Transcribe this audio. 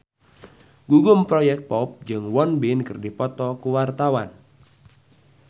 Gugum Project Pop jeung Won Bin keur dipoto ku wartawan